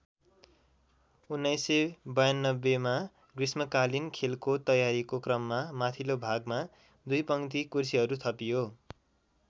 १९९२मा ग्रीष्मकालीन खेलको तयारीको क्रममा माथिल्लो भागमा दुई पङ्क्ति कुर्सीहरू थपियो।